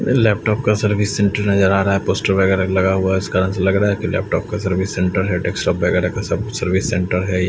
Laptop का service centre नज़र आ रहा है पोस्टर वगैरा लगा हुआ है इस कारण लग रहा है लैपटॉप का सर्विस सेंटर है डेस्कटॉप वगैरा सब का सर्विस सेंटर है।